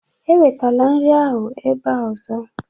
Ewetala nri ahụ ebe a ọzọ!